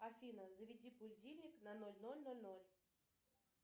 афина заведи будильник на ноль ноль ноль ноль